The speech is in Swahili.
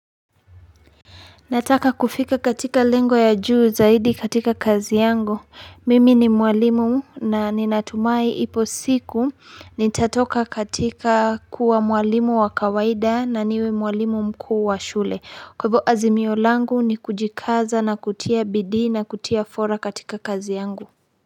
Nataka kufika katika lengo ya juu zaidi katika kazi yangu. Mimi ni mwalimu na ninatumai ipo siku nitatoka katika kuwa mwalimu wa kawaida na niwe mwalimu mkuu wa shule. Kwa hivo azimio langu ni kujikaza na kutia bidii na kutia fora katika kazi yangu.